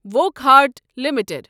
Wockhardt limited